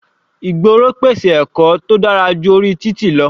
Ìgboro pèsè ẹ̀kọ́ tó dára ju orí títì lọ.